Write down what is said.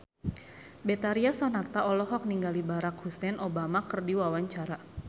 Betharia Sonata olohok ningali Barack Hussein Obama keur diwawancara